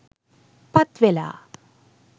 පත් වෙලා.